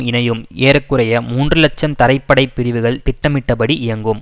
இணையும் ஏற குறைய மூன்று இலட்சம் தரைப்படைப் பிரிவுகள் திட்டமிட்டப்படி இயங்கும்